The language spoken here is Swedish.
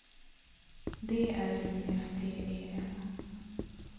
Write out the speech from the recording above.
D R I F T E N